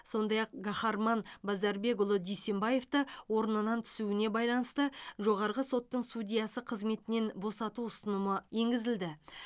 сондай ақ гахарман базарбекұлы дүйсенбаевты орнынан түсуіне байланысты жоғарғы соттың судьясы қызметінен босату ұсынымы енгізілді